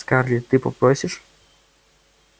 скарлетт ты попросишь